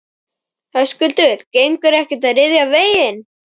Höskuldur: Gengur ekkert að ryðja veginn?